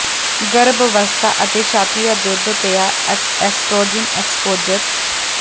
ਗਰੱਭ ਅਵਸਥਾ ਅਤੇ ਛਾਤੀ ਦਾ ਦੁੱਧ ਪਿਆ ਐਸਟ੍ਰੋਜਨ ਐਕਸਪੋਜਰ